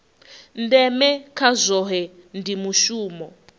ndeme kha zwohe ndi mushumo